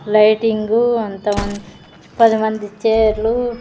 Lighting అంతమంది పది మంది చేర్లు .